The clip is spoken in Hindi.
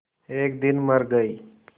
एक दिन मर गई